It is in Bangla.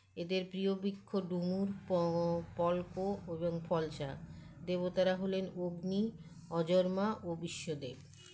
এদের প্রীয় বৃক্ষ ডুমুর প পল্ক এবং ফলশা দেবতারা হলেন অগ্নি অজন্মা ও বিশ্বদেব